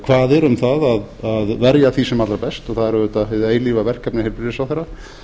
kvaðir um að verja því sem allra best það er auðvitað hið eilífa verkefni heilbrigðisráðherra